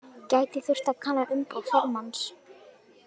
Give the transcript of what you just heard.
Gæti þurft að kanna umboð formanns